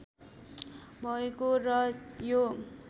भएको र यो